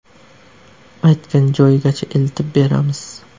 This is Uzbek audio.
Aytgan joyigacha eltib beramiz.